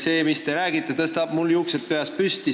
See, mis te räägite, tõstab mul juuksed peas püsti.